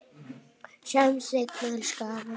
Sjáumst seinna, elsku afi.